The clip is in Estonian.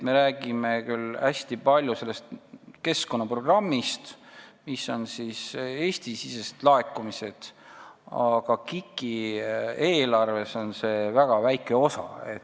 Me räägime küll hästi palju sellest keskkonnaprogrammist, Eesti-sisestest laekumistest, aga KIK-i eelarvest on see väga väike osa.